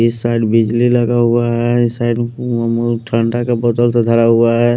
इस साइड बिजली लगा हुआ है इस साइड मोमोज ठंडा का बोतल से धरा हुआ है।